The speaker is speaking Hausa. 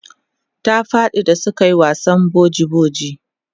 ta faɗi da suke wasan boji boji